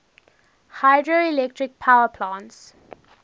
hydroelectric power plants